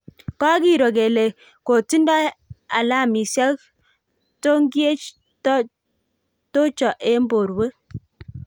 kokiroo kele kotindoi alamisiek tongiech tocho eng borwek